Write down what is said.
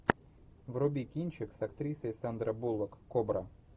вруби кинчик с актрисой сандра буллок кобра